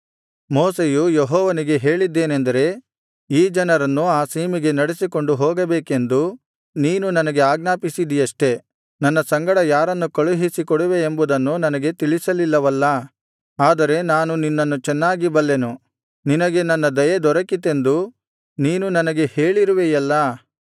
ಮೋಶೆಯು ಯೆಹೋವನಿಗೆ ಹೇಳಿದ್ದೇನೆಂದರೆ ಈ ಜನರನ್ನು ಆ ಸೀಮೆಗೆ ನಡೆಸಿಕೊಂಡು ಹೋಗಬೇಕೆಂದು ನೀನು ನನಗೆ ಆಜ್ಞಾಪಿಸಿದಿಯಷ್ಟೇ ನನ್ನ ಸಂಗಡ ಯಾರನ್ನು ಕಳುಹಿಸಿ ಕೊಡುವೆಯೆಂಬುದನ್ನು ನನಗೆ ತಿಳಿಸಲಿಲ್ಲವಲ್ಲಾ ಆದರೆ ನಾನು ನಿನ್ನನ್ನು ಚೆನ್ನಾಗಿ ಬಲ್ಲೆನು ನಿನಗೆ ನನ್ನ ದಯೆ ದೊರಕಿತೆಂದೂ ನೀನು ನನಗೆ ಹೇಳಿರುವೆಯಲ್ಲಾ